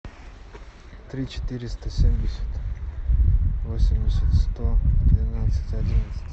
три четыреста семьдесят восемьдесят сто двенадцать одиннадцать